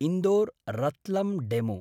इन्दोर्–रत्लम् DEMU